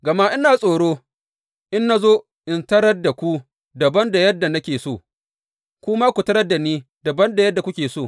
Gama ina tsoro, in na zo, in tarar da ku dabam da yadda nake so, ku ma ku tarar da ni dabam da yadda kuke so.